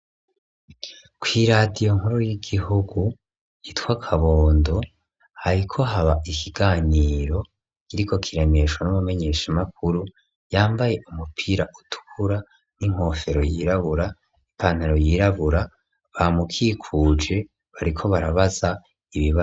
Kw'iradiyo nkuru y'igihugu yitwa Kabondo, hariko haba ikiganiro kiriko kiraremeshwa n'umumenyeshamakuru, yambaye umupira ukura n'inkofero yirabura, ipantaro yirabura, bamukikuje, bariko barabaza ibibazo.